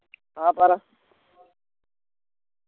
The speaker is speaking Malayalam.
ആ പറ